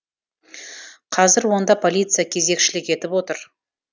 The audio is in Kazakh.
қазір онда полиция кезекшілік етіп отыр